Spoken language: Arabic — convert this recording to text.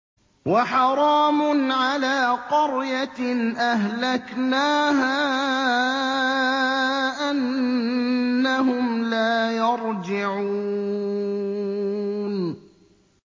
وَحَرَامٌ عَلَىٰ قَرْيَةٍ أَهْلَكْنَاهَا أَنَّهُمْ لَا يَرْجِعُونَ